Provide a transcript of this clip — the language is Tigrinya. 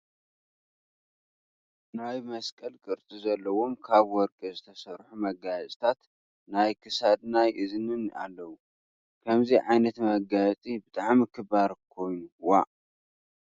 ናይ መስቀል ቅርፂ ዘለዎም ካብ ወርቂ ዝተሰርሑ መጋየፅታት ናይ ክሳድ ናይ እዝንን ኣለው ። ከምዚይ ዓይነት መጋየፂ ብጣዕሚ ክባር ኮይኑ ዋእ!